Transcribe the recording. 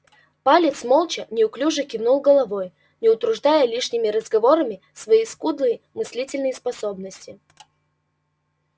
палец молча неуклюже кивнул головой не утруждая лишними разговорами свои скудные мыслительные способности